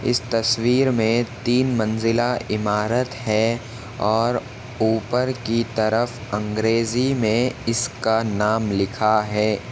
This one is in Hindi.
इस तस्वीर मे तीन मंज़िला इमारत है और उपर की तरफ अंग्रेजी मे इसका नाम लिखा है।